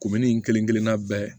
in kelen-kelenna bɛɛ